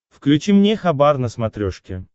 включи мне хабар на смотрешке